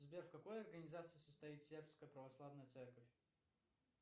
сбер в какой организации состоит сербская православная церковь